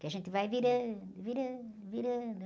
Que a gente vai virando, virando, virando